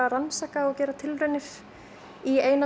að rannsaka og gera tilraunir í eina